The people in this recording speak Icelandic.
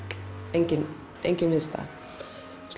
engin engin viðstaða hann